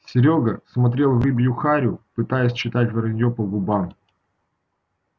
серёга смотрел в рыбью харю пытался читать вранье по губам